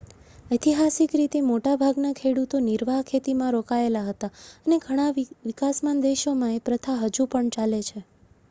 ઐતિહાસિક રીતે મોટા ભાગના ખેડૂતો નિર્વાહ ખેતીમાં રોકાયેલા હતા અને ઘણા વિકાસમાન દેશોમાં એ પ્રથા હજુ પણ ચાલે છે